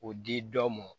O di dɔ mɔ